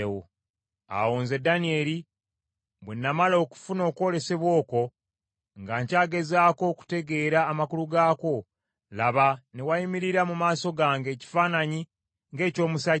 Awo nze Danyeri bwe namala okufuna okwolesebwa okwo nga nkyagezaako okutegeera amakulu gaakwo, laba ne wayimirira mu maaso gange ekifaananyi ng’eky’omusajja.